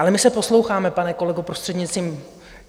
Ale my se posloucháme, pane kolego, prostřednictvím...